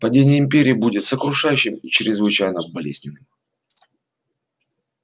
падение империи будет сокрушающим и чрезвычайно болезненным